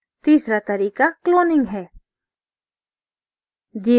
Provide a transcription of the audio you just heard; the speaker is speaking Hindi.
तीसरा तरीका cloning है